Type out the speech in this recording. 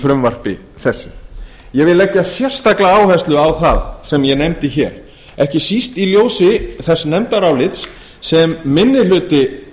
frumvarpi þessu ég vil leggja sérstaka áherslu á það sem ég nefndi hér ekki síst í ljósi þess nefndarálits sem minni hluti